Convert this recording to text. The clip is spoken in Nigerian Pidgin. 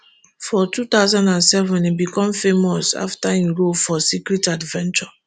for two thousand and seven e become famous afta im role for secret adventures